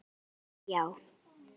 Svar mitt er já.